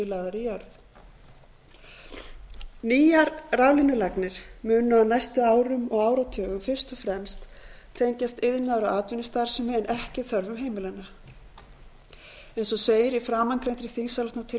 lagðar í jörð nýjar raflínulagnir munu á næstu árum og áratugum fyrst og fremst tengjast iðnaðar og atvinnustarfsemi en ekki þörfum heimilanna eins og segir í framangreindri þingsályktunartillögu frá hundrað